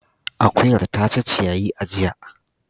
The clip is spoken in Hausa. Akuyar ta ci ciyayi a jiya.